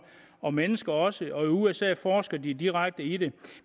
og mennesker også og i usa forsker de direkte i det